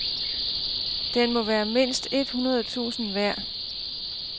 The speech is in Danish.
Den må være mindst et hundrede tusind værd.